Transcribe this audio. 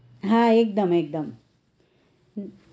હા એકદમ એકદમ